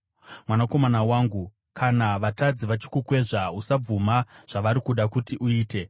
Mwanakomana wangu, kana vatadzi vachikukwezva, usabvuma zvavari kuda kuti uite.